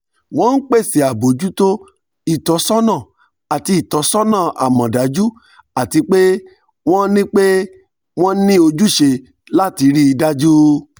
wọn n pese abojuto itọsọna ati itọsọna amọdaju ati pe wọn ni pe wọn ni ojuse lati rii daju